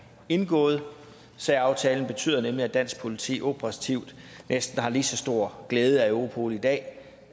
indgået særaftalen betyder nemlig at dansk politi operativt næsten har lige så stor glæde af europol i dag